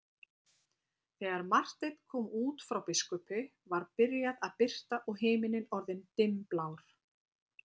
Þegar Marteinn kom út frá biskupi var byrjað að birta og himininn orðinn dimmblár.